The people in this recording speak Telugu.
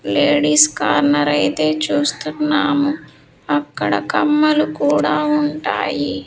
లేడీస్ కార్నర్ అయితే చూస్తున్నాము అక్కడ కమ్మలు కూడా ఉంటాయి.